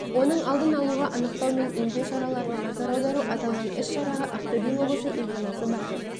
оның алдын алуға анықтау мен емдеу шараларына назар аудару аталған іс-шараға ақтөбе облысы емханасы бар